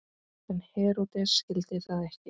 En Heródes skildi það ekki.